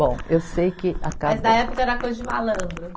Bom, eu sei que, acabei. Mas na época era coisa de malandro.